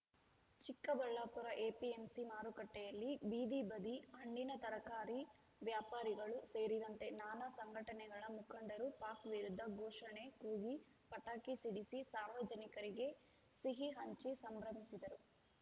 Chikkaballapur APMC ಮಾರುಕಟ್ಟೆಯಲ್ಲಿ ಬೀದಿಬದಿ ಹಣ್ಣಿನ ತರಕಾರಿ ವ್ಯಾಪಾರಿಗಳು ಸೇರಿದಂತೆ ನಾನಾ ಸಂಘಟನೆಗಳ ಮುಖಂಡರು ಪಾಕ್‌ ವಿರುದ್ಧ ಘೋಷಣೆ ಕೂಗಿ ಪಟಾಕಿ ಸಿಡಿಸಿ ಸಾರ್ವಜನಿಕರಿಗೆ ಸಿಹಿ ಹಂಚಿ ಸಂಭ್ರಮಿಸಿದರು